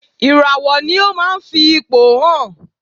Ìràwọ̀ ni ó ma ń fi ipò hàn.